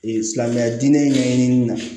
Ee silamɛya diinɛ ɲɛɲinin ma